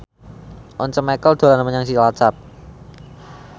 Once Mekel dolan menyang Cilacap